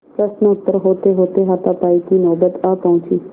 प्रश्नोत्तर होतेहोते हाथापाई की नौबत आ पहुँची